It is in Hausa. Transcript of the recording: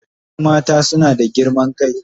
Wasu mata suna da girman kai.